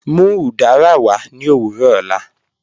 Mú udara wà ní ọ̀wọ̀rọ̀ ọ̀lá.